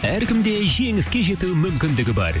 әркімде жеңіске жетуі мүмкіндігі бар